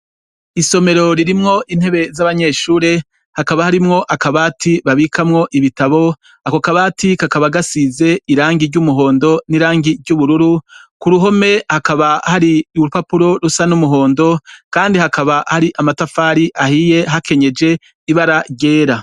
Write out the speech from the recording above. Isomero ririmwo intebe z'abanyeshure hakaba harimwo akabati babikamwo ibitabo ako akabati kakaba gasize irangi ry'umuhondo n'irangi ry'ubururu ku ruhome hakaba hari urupapuro rusa n'umuhondo, kandi hakaba hari amatafari ahiye hakenyeje ibara ryera.